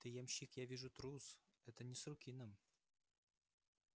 ты ямщик я вижу трус это не с руки нам